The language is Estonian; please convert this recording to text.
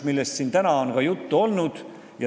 Sellest on siin ka täna juttu olnud.